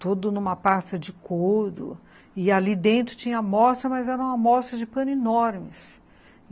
todo numa pasta de couro, e ali dentro tinha amostra, mas era uma amostra de pano enorme.